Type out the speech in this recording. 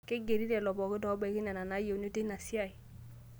Keigeri lelo pookin obaiki nena nayieuni teina siai